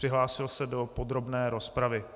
Přihlásil se do podrobné rozpravy.